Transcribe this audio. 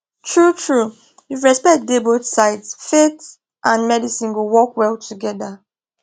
truetrue if respect dey both sides faith and medicine go work well together